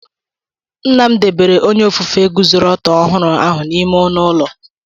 Nna m debere onye ofufe guzoro ọtọ ọhụrụ ahụ n'ime ọnụ ụlọ.